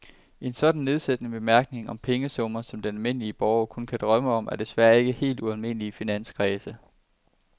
En sådan nedsættende bemærkning om pengesummer, som den almindelige borger kun kan drømme om, er desværre ikke helt ualmindelig i finanskredse.